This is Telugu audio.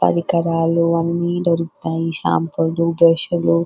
పరికరాలు అన్ని దొరుకుతాయి షాంపూ లు బ్రష్ లు --